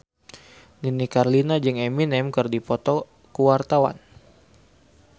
Nini Carlina jeung Eminem keur dipoto ku wartawan